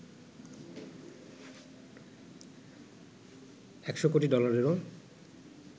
১০০ কোটি ডলারেরও